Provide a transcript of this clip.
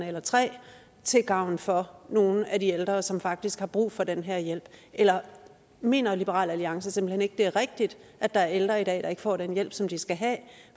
eller tre af lokalerne til gavn for nogle af de ældre som faktisk har brug for den her hjælp eller mener liberal alliance simpelt hen ikke det er rigtigt at der er ældre i dag der ikke får den hjælp som de skal have